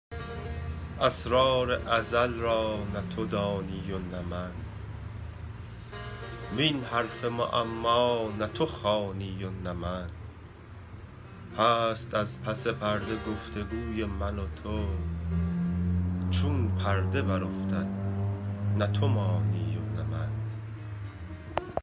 اسرار ازل را نه تو دانی و نه من وین حرف معما نه تو خوانی و نه من هست از پس پرده گفت وگوی من و تو چون پرده برافتد نه تو مانی و نه من